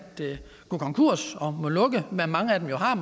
gå konkurs og må lukke hvad mange af dem jo har